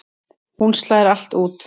Hún slær allt út.